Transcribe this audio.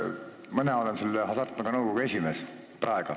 Mina olen praegu Hasartmängumaksu Nõukogu esimees.